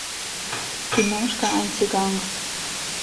киношка антиганг